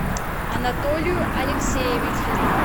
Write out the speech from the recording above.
анатолию алексеевичу